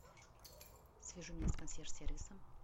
свяжи меня с консьерж сервисом